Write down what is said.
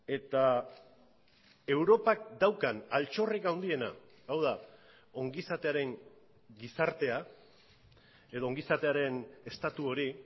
eta europak daukan altxorrik handiena hau da ongizatearen gizartea edo ongizatearen estatu hori